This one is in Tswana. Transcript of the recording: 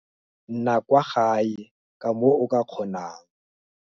Nna kwa gae ka moo o ka kgonang.